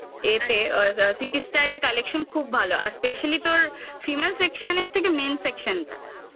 এতে city city style collection খুব ভালো. আর specially তোর female section থেকে male section